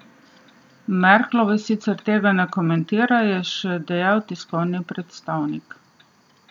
Merklova sicer tega ne komentira, je še dejal tiskovni predstavnik.